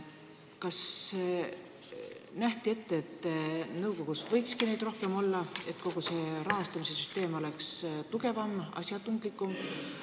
Kas nähti ette, et nõukogus võikski neid rohkem olla, et kogu rahastamise süsteem oleks tugevam ja asjatundlikum?